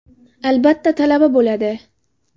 Albatta talaba bo‘ladi.